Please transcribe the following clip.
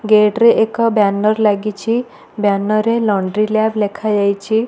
Gate ରେ ଏକ banner ଲାଗିଛି ବ୍ୟାନର ରେ ଲଣ୍ଡ୍ରି ଲ୍ୟାବ୍ ଲେଖାଯାଇଛି।